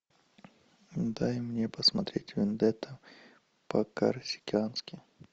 дай мне посмотреть вендетта по корсикански